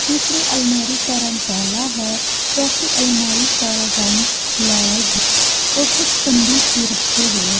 तीसरी अलमारी का रंग काला है चौथीं अलमारी का रंग लाल है और कुछ संदूक भी रखे हुए हैं।